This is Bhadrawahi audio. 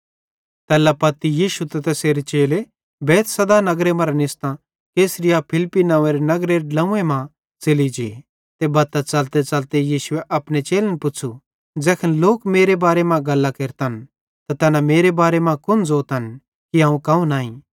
तैल्ला पत्ती यीशु ते तैसेरे चेले बैतसैदा नगरे मरां निस्तां कैसरियाफिलिप्पी नंव्वेरे नगरेरे ड्लोंव्वन मां च़ेलि जे बत्तां च़लतेच़लते यीशुए अपने चेलन पुच़्छ़ू ज़ैखन लोक मेरे बारे मां गल्लां केरतन त तैना मेरे बारे मां कुन ज़ोतन कि अवं कौन आईं